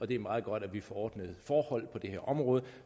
det er meget godt at vi får ordnede forhold på det her område